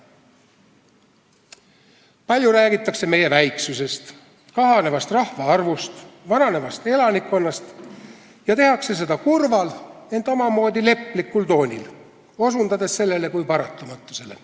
Palju räägitakse meie väiksusest, kahanevast rahvaarvust ja vananevast elanikkonnast ning tehakse seda kurval, ent omamoodi leplikul toonil, osutades sellele kui paratamatusele.